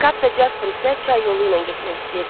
Kap və Casper isə çay yolu ilə getmək istəyirdilər.